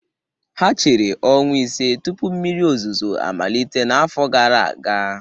Ha chere ọnwa ise tupu mmiri ozuzo amalite n'afọ gara aga